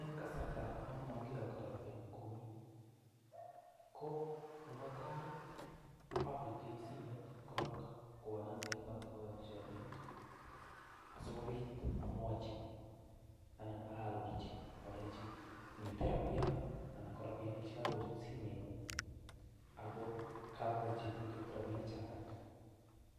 En kasarta non mogiyokto rabinik komyee ko nebo tai abirtoi simet korong kwo nambet ne koyoki rabinik asikobit amwochi anan aarorchi alenji miten rabiya anan ko robinik ch ekogochut simeng'ung ago kamagocheguget rabinik choto